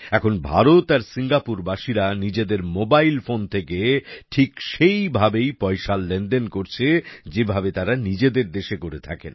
এখন ভারত আর সিঙ্গাপুর বাসীরা নিজেদের মোবাইল ফোন থেকে ঠিক সেই ভাবেই পয়সার লেনদেন করছেন যেভাবে তারা নিজেদের দেশে করে থাকেন